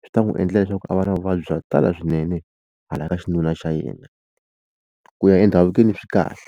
swi ta n'wi endla leswaku a va na vuvabyi bya ku tala swinene hala ka xinuna xa yena ku ya endhavukweni swi kahle.